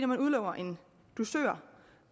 man udlover en dusør